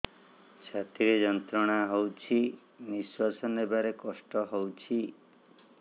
ଛାତି ରେ ଯନ୍ତ୍ରଣା ହଉଛି ନିଶ୍ୱାସ ନେବାରେ କଷ୍ଟ ହଉଛି